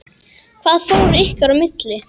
Hvað fór ykkar í milli?